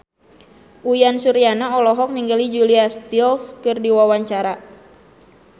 Uyan Suryana olohok ningali Julia Stiles keur diwawancara